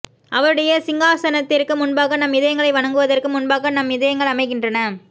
அவருடைய சிங்காசனத்திற்கு முன்பாக நம் இதயங்களை வணங்குவதற்கு முன்பாக நம் இதயங்கள் அமைகின்றன